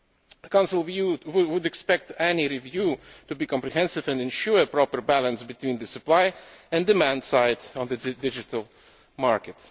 The Council would expect any review to be comprehensive and to ensure proper balance between the supply and demand sides of the digital market.